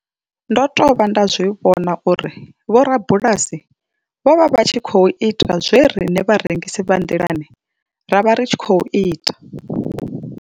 Ndo tovha nda zwi vhona uri vhorabulasi vho vha vha tshi khou ita zwe riṋe vharengisi vha nḓilani ra vha ri tshi khou ita.